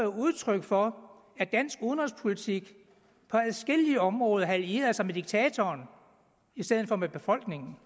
udtryk for at dansk udenrigspolitik på adskillige områder havde allieret sig med diktatoren i stedet for med befolkningen